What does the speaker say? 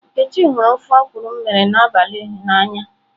Nkechi huru ofe okwụrụ m mere n'abali na anya.